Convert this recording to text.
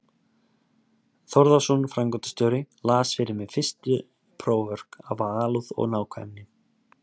Þórðarson framkvæmdastjóri, las fyrir mig fyrstu próförk af alúð og nákvæmni.